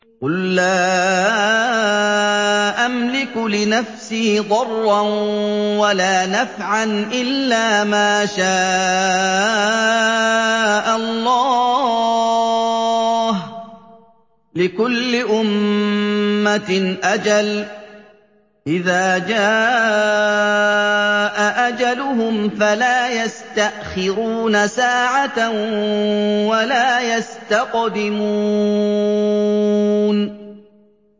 قُل لَّا أَمْلِكُ لِنَفْسِي ضَرًّا وَلَا نَفْعًا إِلَّا مَا شَاءَ اللَّهُ ۗ لِكُلِّ أُمَّةٍ أَجَلٌ ۚ إِذَا جَاءَ أَجَلُهُمْ فَلَا يَسْتَأْخِرُونَ سَاعَةً ۖ وَلَا يَسْتَقْدِمُونَ